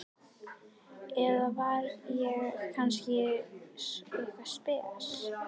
Eða var ég kannski eitthvað spes?